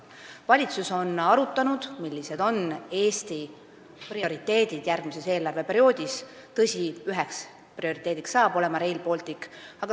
Valitsus on arutanud, millised on Eesti prioriteedid järgmisel eelarveperioodil, ja tõsi, üheks prioriteediks saab olema Rail Baltic.